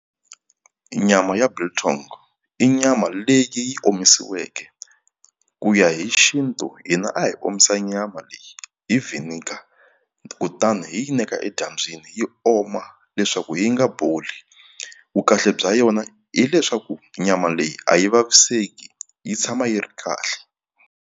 Nyama ya biltong i nyama leyi yi omisiweke ku ya hi xintu hina a hi omisa nyama leyi hi vinegar kutani hi yi neka edyambyini yi oma leswaku yi nga boli vukahle bya yona hileswaku nyama leyi a yi vaviseki yi tshama yi ri kahle.